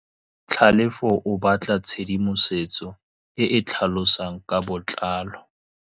Tlhalefô o batla tshedimosetsô e e tlhalosang ka botlalô.